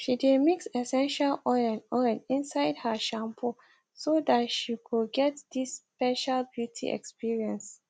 she dae mix essential oil oil inside her shampoo so that she go get this special beauty experience